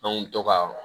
n mi to ka